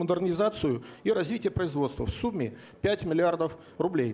модернизацию и развития производства в сумме пять миллиардов рублей